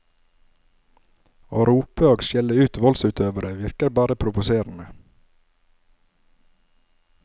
Å rope og skjelle ut voldsutøveren virker bare provoserende.